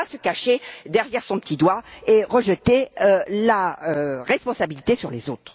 Il ne faut pas se cacher derrière son petit doigt et rejeter la responsabilité sur les autres.